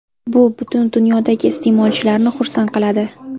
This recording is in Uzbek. Bu butun dunyodagi iste’molchilarni xursand qiladi”.